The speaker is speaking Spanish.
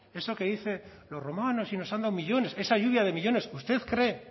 eso que dice de los romanos si nos han dado millónes esa lluvia de millónes usted cree